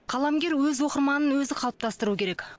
қаламгер өз оқырманын өзі қалыптастыру керек